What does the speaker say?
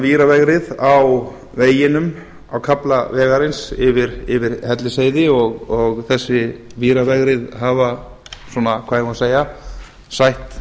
víravegrið á kafla vegarins yfir hellisheiði og þessi víravegrið hafa svona hvað eigum við að segja sætt